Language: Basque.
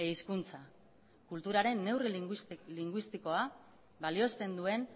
ehizkuntza kulturaren neurri linguistikoa balioesten duen